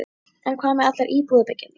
En hvað með allar íbúðabyggingarnar?